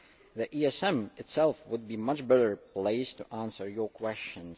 The ESM itself would be much better placed to answer your questions.